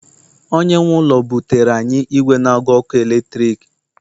onye nwe ụlọ butere anyị igwe n agu ọkụ eletrik